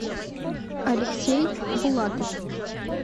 алексей булатов